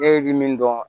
E bɛ min dɔn